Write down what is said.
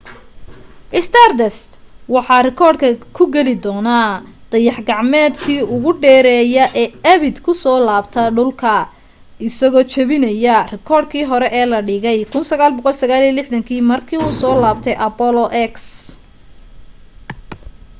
stardust wuxu rikoodhka ku geli doonaa dayax-gacmeedkii ugu dheerayaa ee abid ku soo laabta dhulka isagoo jebinaya rikoodh kii hore ee la dhigay 1969 markii uu soo laabtay apollo x